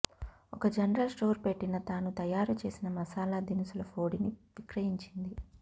ఒక general store పెట్టిన తాను తయారుచేసిన మసాలా దినుసుల పోడిని విక్రయించింది